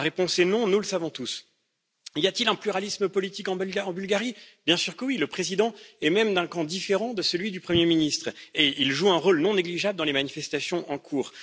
La réponse est non, nous le savons tous. Y a t il un pluralisme politique en Bulgarie? Bien sûr que oui, le Président est même d'un camp différent de celui du Premier ministre, et il joue un rôle non négligeable dans les manifestations en cours.